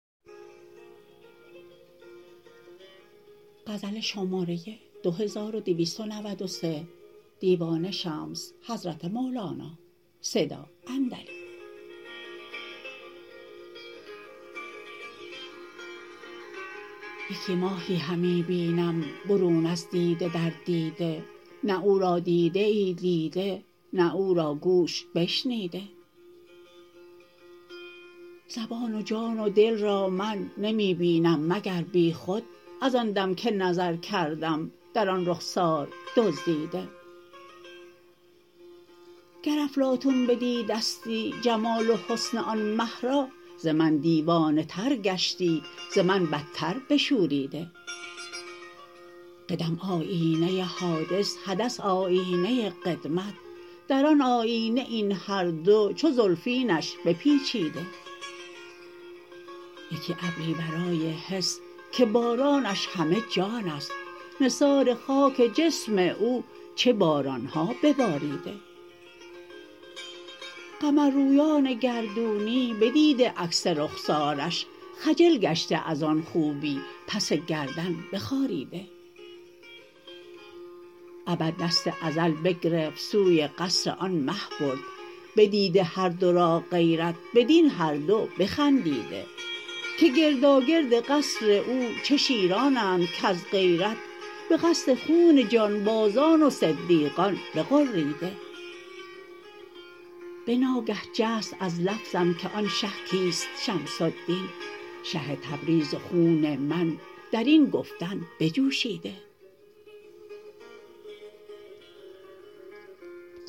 یکی ماهی همی بینم برون از دیده در دیده نه او را دیده ای دیده نه او را گوش بشنیده زبان و جان و دل را من نمی بینم مگر بیخود از آن دم که نظر کردم در آن رخسار دزدیده گر افلاطون بدیدستی جمال و حسن آن مه را ز من دیوانه تر گشتی ز من بتر بشوریده قدم آیینه حادث حدث آیینه قدمت در آن آیینه این هر دو چو زلفینش بپیچیده یکی ابری ورای حس که بارانش همه جان است نثار خاک جسم او چه باران ها بباریده قمررویان گردونی بدیده عکس رخسارش خجل گشته از آن خوبی پس گردن بخاریده ابد دست ازل بگرفت سوی قصر آن مه برد بدیده هر دو را غیرت بدین هر دو بخندیده که گرداگرد قصر او چه شیرانند کز غیرت به قصد خون جانبازان و صدیقان بغریده به ناگه جست از لفظم که آن شه کیست شمس الدین شه تبریز و خون من در این گفتن بجوشیده